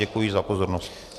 Děkuji za pozornost.